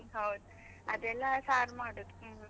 ಹೌದು ಅದೆಲ್ಲ ಸಾರ್ ಮಾಡುದು ಹ್ಮ್.